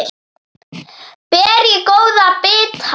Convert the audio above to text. Ber ég góða bita.